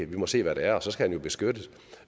vi må se hvad det er og så skal han jo beskyttes